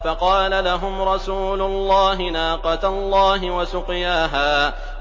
فَقَالَ لَهُمْ رَسُولُ اللَّهِ نَاقَةَ اللَّهِ وَسُقْيَاهَا